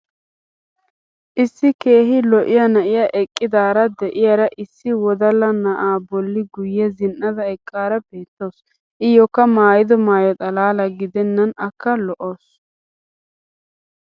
issi keehi lo'iya na'iya eqqidaara diyaara issi wodalla na"aa boli guye zin'ada eqqaara baatawusu. iyookka maayido maayo xalaala gidennan akka lo'awusu.